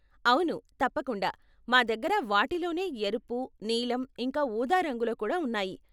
అవును, తప్పకుండా, మా దగ్గర వాటిలోనే ఎరుపు, నీలం ఇంకా ఊదా రంగులో కూడా ఉన్నాయి.